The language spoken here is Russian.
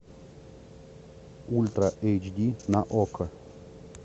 ультра эйч ди на окко